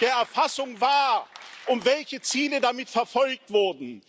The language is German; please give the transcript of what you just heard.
der Erfassung war und welche Ziele damit verfolgt wurden.